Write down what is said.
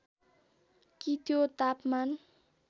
कि त्यो तापमान